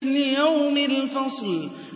لِيَوْمِ الْفَصْلِ